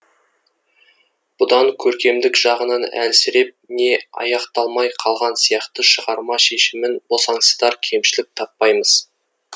бұдан көркемдік жағынан әлсіреп не аяқталмай қалған сияқты шығарма шешімін босаңсытар кемшілік таппаймыз